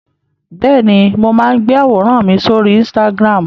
Bẹ́ẹ̀ni, mo máa ń gbé àwòrán mi sórí Instagram.